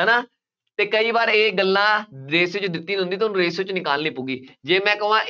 ਹੈ ਨਾ, ਅਤੇ ਕਈ ਵਾਰ ਇਹ ਗੱਲਾਂ, ratio ਜੇ ਦਿੱਤੀ ਹੁੰਦੀ ਤਾਂ ਉਹਨੂੰ ratio ਚ ਨਿਕਾਲਣੀ ਪਊਗੀ, ਜੇ ਮੈਂ ਕਹਵਾਂ